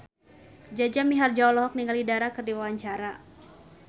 Jaja Mihardja olohok ningali Dara keur diwawancara